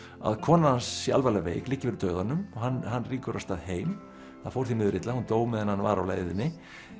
að konan hans sé alvarlega veik liggi fyrir dauðanum hann hann rýkur af stað heim það fór því miður illa hún dó meðan hann var á leiðinni